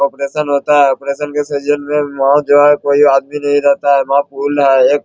operation होता है | operation में से वहाँ जो है कोइ आदमी नहीं रहता है वहाँ पुल है | एक --